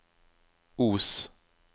Os